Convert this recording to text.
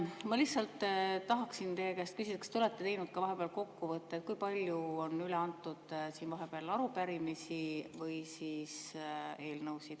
Ma lihtsalt tahaksin teie käest küsida, kas te olete teinud vahepeal kokkuvõtte, et kui palju on üle antud arupärimisi ja eelnõusid.